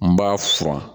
N b'a furan